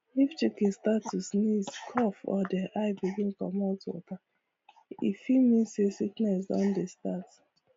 if chicken start to sneeze cough or their eye begin comot water e fit mean say sickness don dey start